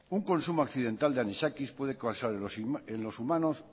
un consumo accidental de anisakis puede causar en los humanos